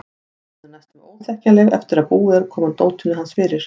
Hún er næstum óþekkjanleg eftir að búið er að koma dótinu hans fyrir.